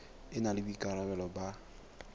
e na le boikarabelo ba